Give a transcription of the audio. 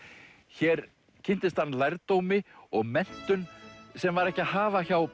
hér kynntist hann lærdómi og menntun sem var ekki að hafa hjá